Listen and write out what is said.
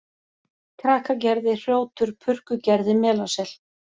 Krakagerði, Hrjótur, Purkugerði, Melasel